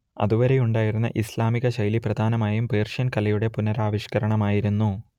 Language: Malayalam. അതുവരെയുണ്ടായിരുന്ന ഇസ്ലാമികശൈലി പ്രധാനമായും പേർഷ്യൻ കലയുടെ പുനരാവിഷ്കരണമായിരുന്നു